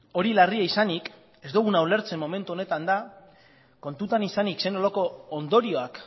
hori larria izanik ez duguna ulertzen momentu honetan da kontutan izanik zer nolako ondorioak